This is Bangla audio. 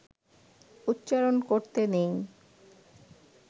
উচ্চারণ করতে নেই